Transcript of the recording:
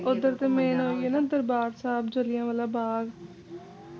ਓਧਰ ਤੇ main ਓਹੀ ਏ ਦਰਬਾਰ ਸਾਹਿਬ ਜ਼ਿਲ੍ਹਿਆਂਵਾਲਾ ਬਾਗ